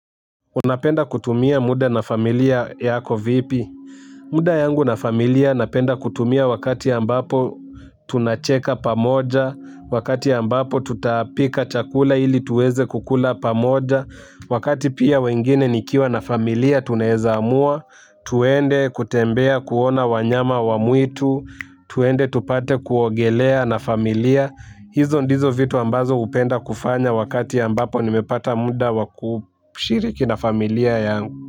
Unapenda kutumia muda na familia yako vipi muda yangu na familia napenda kutumia wakati ambapo tunacheka pamoja wakati ambapo tutapika chakula ili tuweze kukula pamoja wakati pia wengine nikiwa na familia tunaweza amua twende kutembea kuona wanyama wa mwitu twende tupate kuogelea na familia. Hizo ndizo vitu ambazo hupenda kufanya wakati ambapo nimepata muda wa kushiriki na familia yangu.